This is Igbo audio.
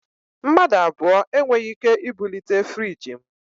Mmadụ abụọ e nweghị ike ibulite friiji m